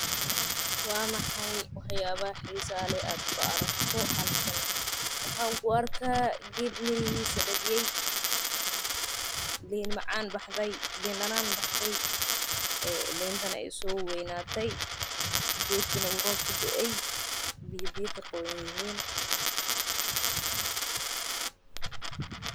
Waa maxay wax yaabaha xiisaha leh oo aad ku aragto halkan waxaa arkaa liin danaan baxde oo soo weynate.